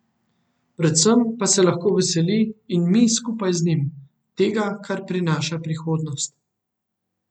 Predvsem pa se lahko veseli, in mi skupaj z njim, tega, kar prinaša prihodnost.